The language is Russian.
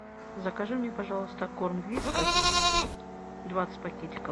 закажи мне пожалуйста корм вискас двадцать пакетиков